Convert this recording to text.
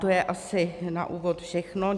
To je asi na úvod všechno.